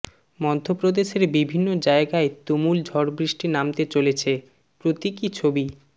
মধ্যপ্রদেশের বিভিন্ন জায়গায় তুমুল ঝড়বৃষ্টি নামতে চলেছে প্রতীকী ছবি